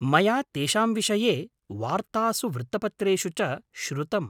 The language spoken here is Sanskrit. मया तेषां विषये वार्तासु वृत्तपत्रेषु च श्रुतम्।